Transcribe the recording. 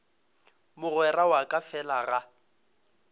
mogwera wa ka fela ga